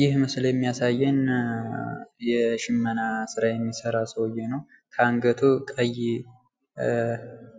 ይህ ምስል የሚያሳየን የሽመና ስራ የሚሰራ ሰውዬ ነው። ከአንገቱ ቀይ